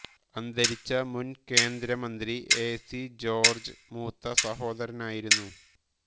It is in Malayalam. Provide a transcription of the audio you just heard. അന്തരിച്ച മുൻ കേന്ദ്രമന്ത്രി എ സി ജോർജ് മൂത്ത സഹോദരനായിരുന്നു